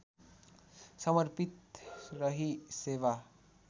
समर्पित रही सेवा